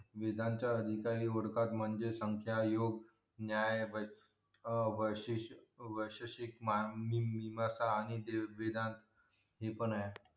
वेदांच्या निकाली वर्खात म्हणजे संख्यायोग अं वर्षीश वर्षीशशिक आणि वेदांत है पण आहे